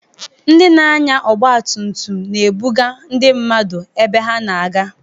Ndị na-anya ọgba tum tum, na-ebuga ndị mmadụ ebe ha na-aga.